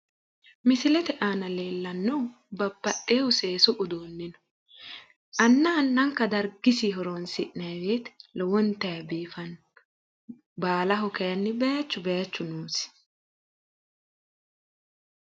Misilete aana leellannohu babbaxewoohu seesu uduunni no. anna annanka dargisinn horonsi'ne lowontayi biifanno. baalaho kaayiinni baayiichu baayiichu noosi.